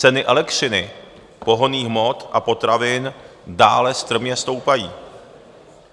Ceny elektřiny, pohonných hmot a potravin dále strmě stoupají.